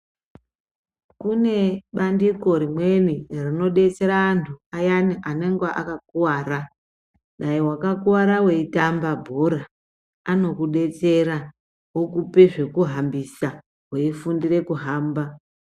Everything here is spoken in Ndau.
Kune bandiko rimweni rinodetsera antu ayani anenge akakuwara. Newakakuwara eyitamba bhora anokudetsera wokupe zvokuhambisa, wofundire kuhamba.